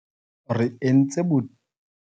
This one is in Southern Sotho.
Re entse boitlamo bo mmalwa tlasa